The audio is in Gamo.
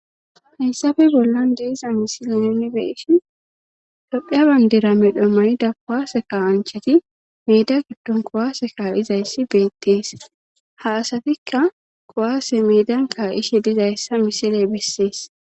hayssafe bollan deeza misile nuni beeshin dophiya bayndera medho mani da kowaase kasancheti meida giddon kowaase kaa7izayssi beettees ha asatikka kowaase meedan kaa7ishe dizayssa misile bessees